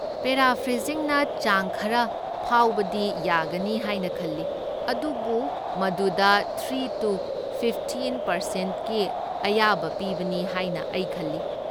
ꯄꯦꯔꯥꯐ꯭ꯔꯦꯖꯤꯡꯅ ꯆꯥꯡ ꯈꯔ ꯐꯥꯎꯕꯗꯤ ꯌꯥꯒꯅꯤ ꯍꯥꯏꯅ ꯈꯜꯂꯤ, ꯑꯗꯨꯕꯨ ꯃꯗꯨꯗ ꯊ꯭ꯔꯤ ꯇꯨ ꯐꯤꯐꯇꯤꯟ ꯄꯥꯔꯁꯦꯟꯠꯀꯤ ꯑꯌꯥꯕ ꯄꯤꯕꯅꯤ ꯍꯥꯏꯅ ꯑꯩ ꯈꯜꯂꯤ ꯫